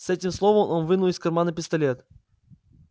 с этим словом он вынул из кармана пистолет